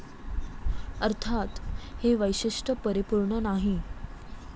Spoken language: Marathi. अर्थात, हे वैशिष्ट्य परिपुर्ण नाही.